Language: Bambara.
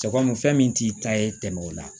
Cɛ kɔni fɛn min t'i ta ye tɛmɛ o la